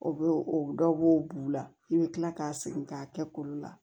O bɛ o dɔw b'o b'u la i bɛ tila k'a segin k'a kɛ kolo la